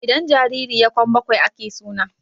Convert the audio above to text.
idan jariri ya Kwan bakwai ake suna